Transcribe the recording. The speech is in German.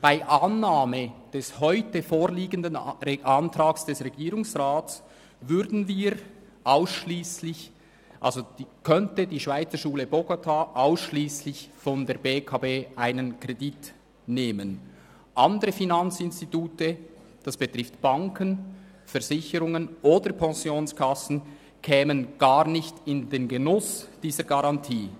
Bei Annahme des heute vorliegenden Antrags des Regierungsrats könnte die Schweizerschule Bogotá ausschliesslich von der BEKB einen Kredit nehmen, andere Finanzinstitute – das betrifft Banken, Versicherungen oder Pensionskassen – kämen nicht in den Genuss dieser Garantie.